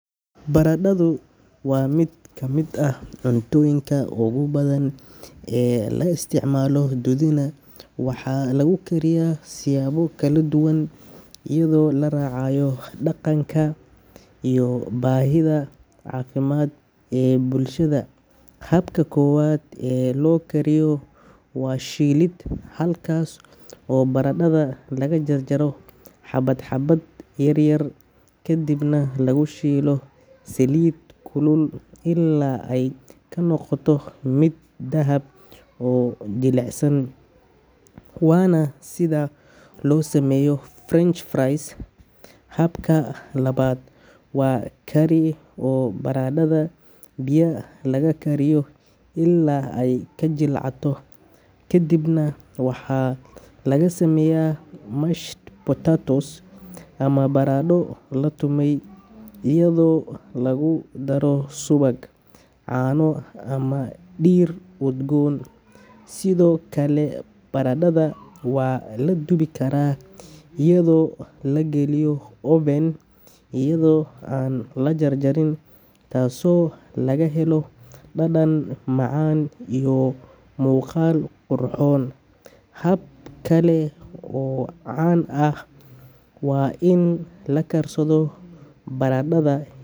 Baradhadu waa mid ka mid ah cuntooyinka ugu badan ee la isticmaalo dunida, waxaana lagu kariyaa siyaabo kala duwan iyadoo la raacayo dhaqanka, dhadhanka, iyo baahida caafimaad ee bulshada. Habka koowaad ee loo kariyo waa shiilid, halkaas oo baradhada lagu jarjaro xabad-xabad yar yar kadibna lagu shiilo saliid kulul ilaa ay ka noqoto mid dahab ah oo jilicsan, waana sida loo sameeyo French fries. Habka labaad waa kari, oo baradhada biyo lagu kariyo ilaa ay ka jilcato, kadibna waxaa laga sameeyaa mashed potatoes ama baradho la tumay, iyadoo lagu daro subag, caano ama dhir udgoon. Sidoo kale baradhada waa la dubi karaa iyadoo la geliyo oven iyadoo aan la jarjarin, taasoo laga helo dhadhan macaan iyo muuqaal qurxoon. Hab kale oo caan ah waa in la karsado baradhada.